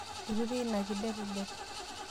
irutie ina kidetidet